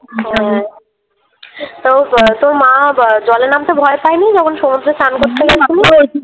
হ্যাঁ তা ব তোর মা ব জলে নামতে ভয় পায়নি যখন সমুদ্রে স্নান করতে নামলি?